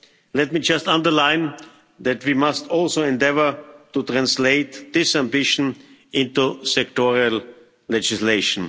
Let me just underline that we must also endeavour to translate this ambition into sectorial legislation.